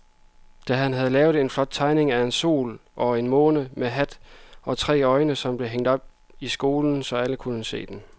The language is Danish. Dan havde lavet en flot tegning af en sol og en måne med hat og tre øjne, som blev hængt op i skolen, så alle kunne se den.